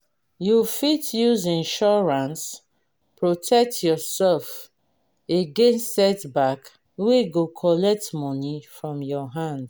you fit use insurance protect yourself against setback wey go collect money from your hand